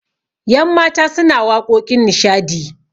yanmata suna waƙoƙin nishadi